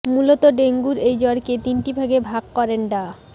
মূলত ডেঙ্গুর এই জ্বরকে তিনটি ভাগে ভাগ করেন ডা